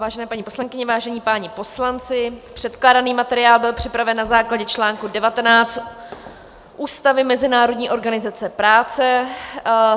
Vážené paní poslankyně, vážení páni poslanci, předkládaný materiál byl připraven na základě článku 19 Ústavy Mezinárodní organizace práce.